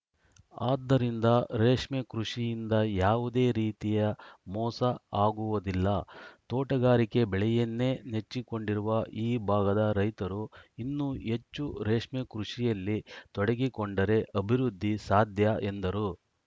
ಆದ್ದರಿಂದ ರೇಷ್ಮೆ ಕೃಷಿಯಿಂದ ಯಾವುದೇ ರೀತಿಯ ಮೋಸ ಆಗುವುದಿಲ್ಲ ತೋಟಗಾರಿಕೆ ಬೆಳೆಯನ್ನೇ ನೆಚ್ಚಿಕೊಂಡಿರುವ ಈ ಭಾಗದ ರೈತರು ಇನ್ನೂ ಹೆಚ್ಚು ರೇಷ್ಮೆ ಕೃಷಿಯಲ್ಲಿ ತೊಡಗಿಕೊಂಡರೆ ಅಭಿವೃದ್ಧಿ ಸಾಧ್ಯ ಎಂದರು